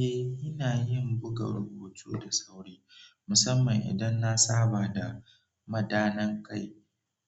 Eh, ina yin buga rubutu da sauri, musamman idan na saba da madanai kai